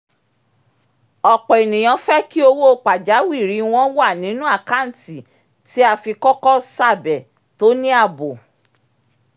ọ̀pọ̀ ènìyàn fẹ́ kí owó pajawìrì wọn wà nínú àkántì tí a fi kọ́kọ́ ṣàbẹ̀ tó ní ààbò